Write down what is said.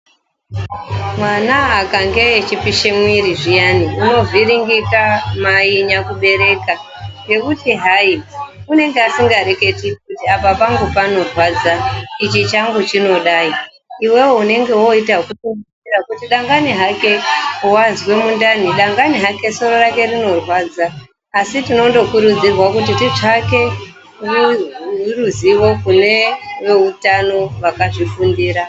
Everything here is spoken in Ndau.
Mwana akange echipisha mwiri zviyani , unovhiringika mai nyakubereka ngekuti hai unenge asingareketi kuti apa pangu panorwadza, ichi changu chinodai, iwewe Mai unoita ekufungidzira kuti dangani musoro wake unorwadza ,dangani mundani asi tinokurudzirwa kutsvaka ruzivo kune veutano vakazvifundira.